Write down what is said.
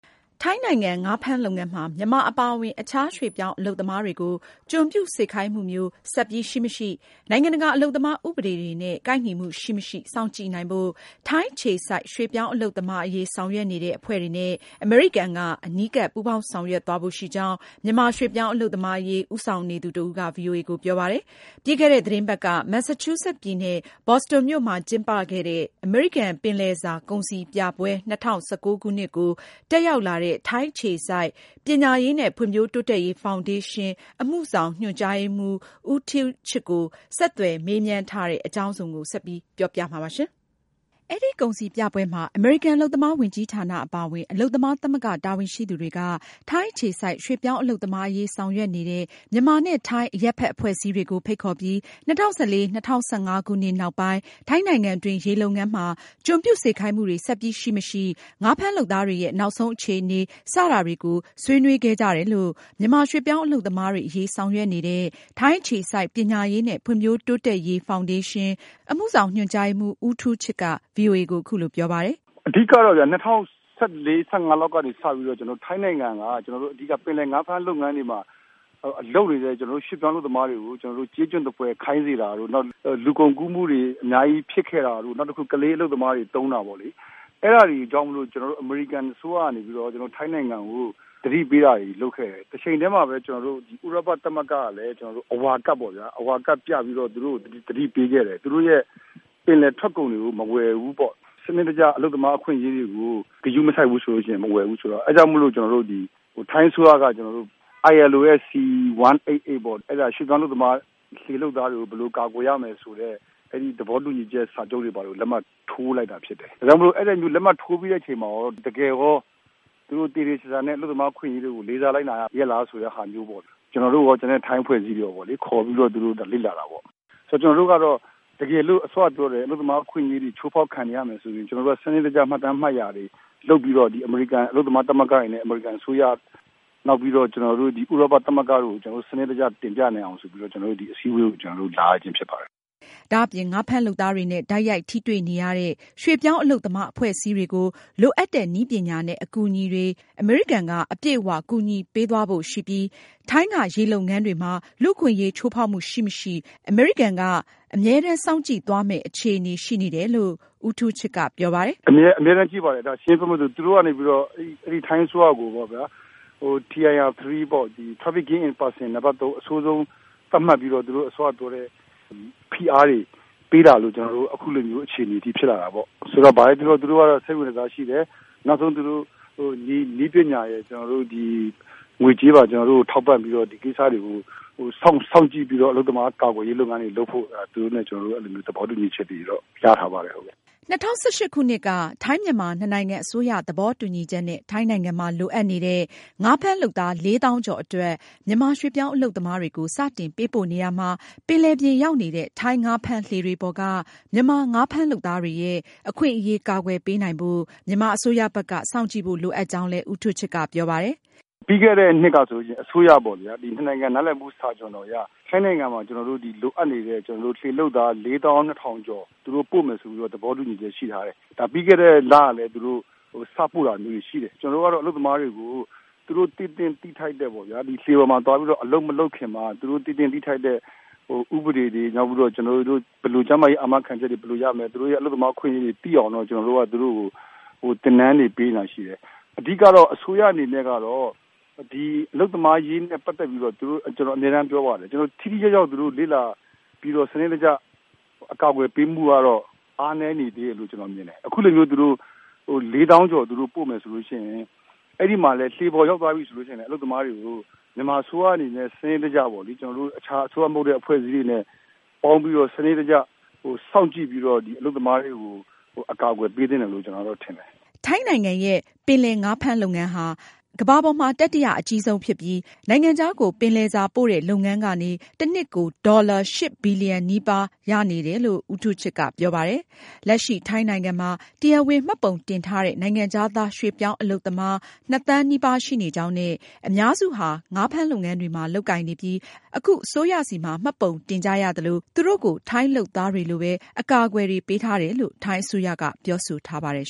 ထိုင်းနိုင်ငံ ငါးဖမ်းလုပ်ငန်းမှာ မြန်မာအပါအဝင် အခြားရွှေ့ပြောင်းအလုပ်သမားတွေကို ကျွန်ပြုစေခိုင်းမှုမျိုး ဆက်ပြီး ရှိမရှိ၊ နိုင်ငံတကာ အလုပ်သမားဥပဒေတွေနဲ့ ကိုက်ညီမှုရှိမရှိ စောင့်ကြည့်နိုင်ဖို့ ထိုင်းအခြေစိုက် ရွှေ့ပြောင်းအလုပ်သမား အရေးဆောင်ရွက်နေတဲ့အဖွဲ့တွေနဲ့ အမေရိကန်က အနီးကပ် ပူးပေါင်းဆောင်ရွက်သွားဖို့ရှိကြောင်း မြန်မာရွှေ့ပြောင်း အလုပ်သမားအရေး ဦးဆောင်နေသူတဦးက ဗွီအိုအေကိုပြောပါတယ်။ ပြီးခဲ့တဲ့ သတင်းပတ်က Massachusetts ပြည်နယ် Boston မြို့မှာကျင်းပခဲ့တဲ့ အမေရိကန် ပင်လယ်စာကုန်စည်ပြပွဲ ၂၀၁၉ ကို တက်ရောက်လာတဲ့ ထိုင်းအခြေစိုက် ပညာရေးနဲ့ ဖွံဖြိုးတိုးတက်ရေး ဖောင်ဒေးရှင်း အမှုဆောင်ညွန်ကြားရေးမှူး ဦးထူးချစ်ကို ဆက်သွယ်မေးမြန်းထားတဲ့ မအင်ကြင်းနိုင်က အသေးစိတ်ကို ဆက်ပြီး ပြောပြမှာပါ။ အဲဒီကုန်စည်ပြပွဲမှာ အမေရိကန် အလုပ်သမားဝန်ကြီးဌာနအပါအဝင် အလုပ်သမားသမဂ္ဂ တာဝန်ရှိသူတွေက ထိုင်းအခြေစိုက် ရွှေ့ပြောင်းအလုပ်သမားအရေး ဆောင်ရွက်နေတဲ့ မြန်မာနဲ့ ထိုင်း အရပ်ဖက်အဖွဲ့အစည်းတွေကို ဖိတ်ခေါ်ပြီး ၂၀၁၄၊ ၁၅ ခုနှစ်နောက်ပိုင်း ထိုင်းနိုင်ငံတွင်း ရေလုပ်ငန်းမှာ ကျွန်ပြုစေခိုင်းမှုတွေဆက်ပြီး ရှိမရှိ၊ ငါးဖမ်းလုပ်သားတွေရဲ့ နောက်ဆုံးအခြေအနေ စတာတွေကို ဆွေးနွေးခဲ့ကြတယ်လို့ မြန်မာရွှေ့ပြောင်းအလုပ်သမားတွေအရေး ဆောင်ရွက်နေသူ ထိုင်းအခြေစိုက် ပညာရေးနဲ့ ဖွံဖြိုးတိုးတက်ရေး ဖောင်ဒေးရှင်း အမှုဆောင်ညွန်ကြားရေးမှူး ဦးထူးချစ်က ဗွီအိုအေကို အခုလိုပြောပါတယ်။ “ အဓိကတော့ ၂၀၁၄-၂၀၁၅ လောက်ကနေစပြီးတော့ ထိုင်းနိုင်ငံက ပင်လယ်ငါးဖမ်းလုပ်ငန်းတွေမှာ လုပ်နေတဲ့ ကျနော်တို့ ရွှေ့ပြောင်းအလုပ်သမားတွေကို ကျေးကျွန်သဖွယ်ခိုင်းစေတာတို့ နောက်လူကုန်ကူးမှုတွေ အများကြီးဖြစ်ခဲ့တာတို့ နောက်တခုက ကလေးအလုပ်သမားတွေ သုံးတာပေါ့လေ။ အဲဒါတွေကြောင့် အမေရိကန်အစိုးရကနေ ထိုင်းနိုင်ငံကို သတိပေးတာတွေ လုပ်ခဲ့တယ်။ တချိန်တည်းမှာလည်း ဥရောပသမဂ္ဂကလည်း အဝါကဒ်ပြပြီးတော့ သူတို့ကို သတိပေးခဲ့တယ်။ သူတို့ပင်လယ်ထွက်ကုန်တွေကို မဝယ်ဘူးပေါ့နော် ။ စနစ်တကျ အလုပ်သမားအခွင့်အရေးတွေကို ဂရုမစိုက်ဘူးဆိုရင် မဝယ်ဘူးဆိုတော့ အဲဒါကြောင့်မို့လို့ ကျနော်တို့ ထိုင်းအစိုးရနေပြီးတော့ ILO ရဲ့C 188ပေါ့ ရွှေ့ပြောင်းအလုပ်သမား လှေလုပ်သားတွေကို ဘယ်လိုကာကွယ်ရမယ်ဆိုတဲ့ အဲဒီသဘောတူညီချက် စာချုပ်တွေကိုလည်း လက်မှတ်ထိုးလိုက်တာဖြစ်တယ်။ ဒါကြောင့်မို့လို့ အဲဒီလက်မှတ်ထိုးပြီးတဲ့အချိန်မှာရော တကယ်ရော သူတို့ သေသေချာချာနဲ့ အလုပ်သမားအခွင့်အရေးတွေကို လေးစားလိုက်နာရဲ့လားဆိုတာမျိုးပေါ့လေ။ ကျနော်တို့ရော ကျန်တဲ့ ထိုင်းအဖွဲ့အစည်းတွေလည်း ခေါ်ပြီးတော့ သူတို့လေ့လာတာပေါ့။ ဆိုတော့ ကျနော်တို့ကတော့ စောနပြောတဲ့ တကယ်အလုပ်သမားအခွင့်အရေးတွေ ချိုးဖောက်ခံနေရမယ်ဆိုရင် စနစ်တကျ မှတ်တမ်းတွေလုပ်ပြီးတော့ ဒီအမေရိကန်အလုပ်သမား သမဂ္ဂတွေနဲ့ အမေရိကန်အစိုးရ နောက်ပြီးတော့ ဥရောပသမဂ္ဂကို စနစ်တကျတင်ပြနိုင်အောင်ဆိုပြီးတော့ ဒီအစည်းအဝေးကို ကျနော်တို့ လာရခြင်းဖြစ်ပါတယ်။” ဒါ့အပြင် ငါးဖမ်းလုပ်သားတွေနဲ့ တိုက်ရိုက်ထိတွေ့ နေရတဲ့ ရွှေ့ပြောင်းအလုပ်သမား အဖွဲ့အစည်းတွေအတွက် လိုအပ်တဲ့ နည်းပညာနဲ့ အကူအညီတွေကို အမေရိကန်က အပြည့်အ၀ ကူညီပေးသွားဖို့ ရှိပြီး ထိုင်းက ရေလုပ်ငန်းတွေမှာ လူ့အခွင့်အရေးချိုးဖောက်မှုရှိမရှိ အမေရိကန်က အမြဲတမ်းစောင့်ကြည်သွားမယ့် အခြေအနေရှိနေတယ်လို့လည်း ဦးထူးချစ်က ပြောပါတယ်။ “အမြဲတမ်းကြည့်ပါတယ် ပြောမယ်ဆိုရင် သူတို့ကနေ ထိုင်းအစိုးရကိုပေါ့ဗျာ Tier 3 နံပတ် ၃ အဆိုးဆုံး သတ်မှတ်ပြီးတော့ သူတို့အစောကပြောတဲ့ ဖိအားတွေပေးတာကြောင့် ကျနော်တို့ အဲလိုဖြစ်လာတာပေါ့။ ဆိုတော့ ဘာပဲပြောပြော သူတို့က စိတ်ဝင်တစားရှိတယ်။ သူတို့နည်းပညာတွေ ကျနော်တို့ ကို ငွေကြေးပါ ထောက်ပံ့ပြီးတော့ ဒီကိစ္စတွေကို စောင့်ကြည့်ပြီးတော့ အလုပ်သမားကာကွယ်ရေးလုပ်ငန်းတွေလုပ်ဖို့ သူတို့နဲ့ ကျနော်တို့ သဘောတူညီချက်တွေတော့ ရထားပါတယ်။” ၂၀၁၈ ခုနှစ်က ထိုင်း-မြန်မာ နှစ်နိုင်ငံ အစိုးရသဘောတူညီချက်နဲ့ ထိုင်းနိုင်ငံမှာ လိုအပ်နေတဲ့ ငါးဖမ်းလုပ်သား ၄၀,၀၀၀ ကျော်အတွက် မြန်မာရွှေ့ပြောင်းအလုပ်သမားတွေကို စတင်ပေးပို့နေရာမှာ ပင်လယ်ပြင်ရောက်နေတဲ့ ထိုင်း ငါးဖမ်းလှေတွေပေါ်က မြန်မာငါးဖမ်းလုပ်သားတွေရဲ့ အခွင့်အရေးအကာအကွယ်ပေးနိုင်ဖို့ မြန်မာအစိုးရဘက်က စောင့်ကြည့်ဖို့ လိုအပ်ကြောင်းလည်း ဦးထူးချစ်က ပြောပါတယ်။ “ပြီးခဲ့တဲ့ နှစ်ကဆိုရင် အစိုးရပေါ့ဗျာ ၂ နိုင်ငံ နားလည်မှု စာချွန်လွှာအရ ထိုင်းနိုင်ငံမှာ ကျနော်တို့ လိုအပ်နေတဲ့ လှေလုပ်သား လေးသောင်းနှစ်ထောင်ကျော်သူတို့ ပို့မယ်ဆိုပြီးတော့ သဘောတူညီချက်ရှိထားတယ်။ ဒါပြီးခဲ့တဲ့လလည်း သူတို့ စပို့တာမျိုးတွေရှိတယ်။ ကျနော်တို့ကတော့ အလုပ်သမားတွေကို လှေပေါ်မှာသွားပြီးတော့ အလုပ်မလုပ်ခင်မှာသူတို့ သိသင့်သိထိုက်တဲ့ဥပဒေတွေ ၊ နောက်ပြီးတော့ ကျမ်းမာရေး အာမခံချက်တွေ ဘယ်လိုရမလဲ ၊ သူတို့ အလုပ်သမားအခွင့်အရေးတွေ သိအောင် ကျနော်တို့က သင်တန်းတွေ ပေးနေတာတွေရှိတယ်။ အဓိက အစိုးရအနေနဲ့ အလုပ်သမားအရေးနဲ့ ပတ်သက်ပြီးတော့ ကျနော်အမြဲပြောပါတယ် သူတို့ ထိထိရောက်ရောက်လေ့လာပြီးတော့ စနစ်တကျ အကာအကွယ်ပေးဖို့ကတော့ အားနည်းနေသေးတယ်လို့ မြင်တယ်။ အခုလိုမျိုး လေးသောင်းကျော်သူတို့ ပို့မယ်ဆိုရင် အဲဒီမှာလည်း လှေပေါ်ရောက်သွားပြီဆိုရင် အလုပ်သမားတွေကို မြန်မာအစိုးရနဲ့ စနစ်တကျပေါ့လေ အခြားအစိုးရမဟုတ်တဲ့ အဖွဲ့အစည်းတွေနဲ့ ပေါင်းပြီးတော့ စနစ်တကျ စောင့်ကြည့်ပြီးတော့ အလုပ်သမားတွေကို အကာအကွယ်ပေးသင့်တယ်လို့ ကျနော်ထင်တယ်။” ထိုင်းနိုင်ငံရဲ့ ပင်လယ်ငါးဖမ်းလုပ်ငန်းဟာ ကမ္ဘာပေါ်မှာ တတိယအကြီးဆုံးဖြစ်ပြီး နိုင်ငံခြားကို ပင်လယ်စားပို့လုပ်ငန်းကနေ တနှစ်ကို ဝင်ငွေ အမေရိကန်ဒေါ်လာ ၈ ဘီလီယံနီးပါးရှိနေတယ်လို့ ဦးထူးချစ်က ဆိုပါတယ်။ လက်ရှိ ထိုင်းနိုင်ငံမှာ တရားဝင်မှတ်ပုံတင်ထားတဲ့ နိုင်ငံခြားသား ရွှေ့ပြောင်းအလုပ်သမား နှစ်သန်းနီးပါးရှိနေကြောင်းနဲ့ အများစုဟာ ငါးလုပ်ငန်းတွေမှာ လုပ်ကိုင်နေပြီး အခု အစိုးရဆီမှာ မှတ်ပုံတင်ကြရသလို သူတို့ကို ထိုင်းလုပ်သားတွေလိုပဲ အကာအကွယ်တွေ ပေးထားတယ် လို့ ထိုင်းအစိုးရက ပြောဆိုထားပါတယ်